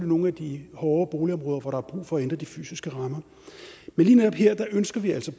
nogle af de hårde boligområder hvor der er brug for at ændre de fysiske rammer men lige netop her ønsker vi altså